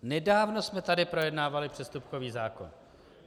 Nedávno jsme tady projednávali přestupkový zákon.